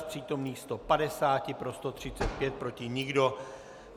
Z přítomných 150 pro 135, proti nikdo.